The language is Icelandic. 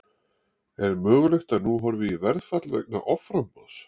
Er mögulegt að nú horfi í verðfall vegna offramboðs?